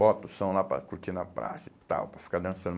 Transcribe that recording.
Bota o som lá para curtir na praça e tal, para ficar dançando.